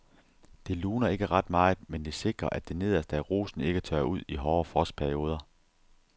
Det luner ikke ret meget, men det sikrer at det nederste af rosen ikke tørrer ud i hårde frostperioder.